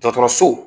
Dɔgɔtɔrɔso